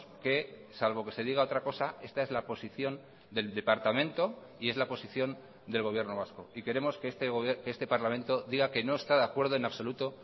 que salvo que se diga otra cosa esta es la posición del departamento y es la posición del gobierno vasco y queremos que este parlamento diga que no está de acuerdo en absoluto